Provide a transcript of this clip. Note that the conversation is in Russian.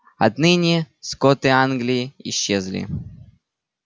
отныне скоты англии исчезли